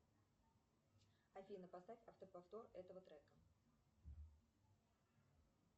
афина поставь автоповтор этого трека